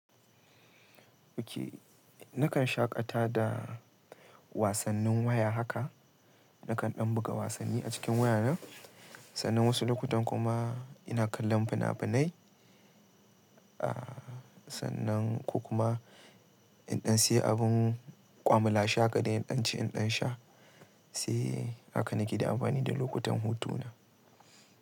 Okay, nakan shaƙata da wasannin waya haka. Nakan ɗan buga wasanni a cikin wayana, sannan wasu lokutan kuma ina kallon fina-finai. Aaa sannan ko kuma in ɗan sayi abin kwamala she haka dai, in ɗan ci, in ɗan sha. Sai haka nake da amfani da lokutan hutu na.